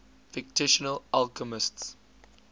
fictional alchemists